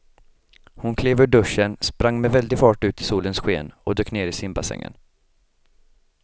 Hon klev ur duschen, sprang med väldig fart ut i solens sken och dök ner i simbassängen.